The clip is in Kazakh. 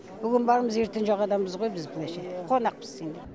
бүгін бармыз ертең жоқ адамбыз ғой біз былайша айтқанда қонақпыз енді